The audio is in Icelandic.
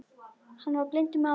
Hann var blindur maður.